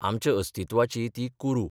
आमच्या अस्तित्वाची ती कुरू.